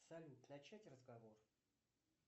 салют начать разговор